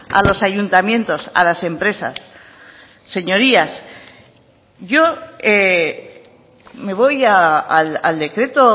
a los ayuntamientos a las empresas señorías yo me voy al decreto